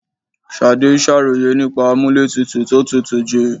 Ṣadé ń ṣàròyè nípa amúlétutù tó tútù jù.